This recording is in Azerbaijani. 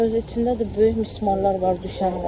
Özü içində də böyük mismarlar var düşənlər.